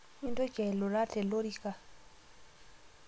Mintoki ailura telorika